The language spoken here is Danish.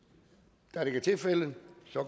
da det ikke er tilfældet